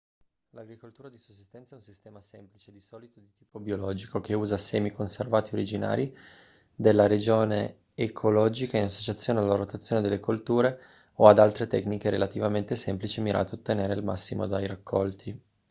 l'agricoltura di sussistenza è un sistema semplice di solito di tipo biologico che usa semi conservati originari della regione ecologica in associazione alla rotazione delle colture o ad altre tecniche relativamente semplici mirate a ottenere il massimo dai raccolti